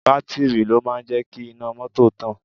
Bátìrì ló máa ń jẹ́ kí iná mọ́tò tàn